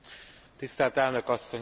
Tisztelt Elnök asszony!